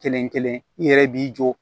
Kelen kelen i yɛrɛ b'i jɔ